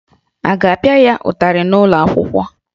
A ga-apịa ya ụtarị n'ụlọ akwụkwọ?